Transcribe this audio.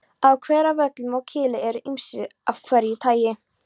Á Hveravöllum á Kili eru ýmsir hverir af því tagi.